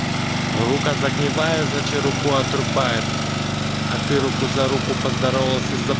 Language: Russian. рука загневая задача руку отрубает а ты руку за руку поздоровался